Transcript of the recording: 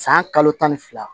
San kalo tan ni fila